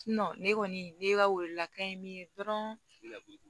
ne kɔni ne ka welelaka ye min ye dɔrɔn